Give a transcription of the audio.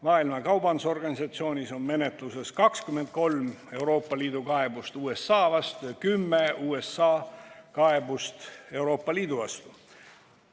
Maailma Kaubandusorganisatsioonis on menetluses 23 Euroopa Liidu kaebust USA vastu ja 10 USA kaebust Euroopa Liidu vastu.